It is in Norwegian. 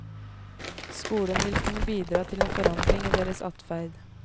Skolen vil kunne bidra til en forandring i deres adferd.